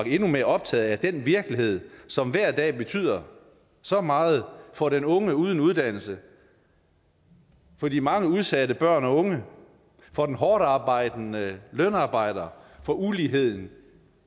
endnu mere optaget af den virkelighed som hver dag betyder så meget for den unge uden uddannelse for de mange udsatte børn og unge for den hårdtarbejdende lønarbejder for uligheden